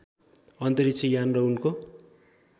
अन्तरिक्ष यान र उनको